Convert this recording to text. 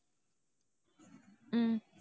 உம்